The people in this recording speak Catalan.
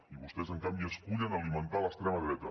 i vostès en canvi escullen alimentar l’extrema dreta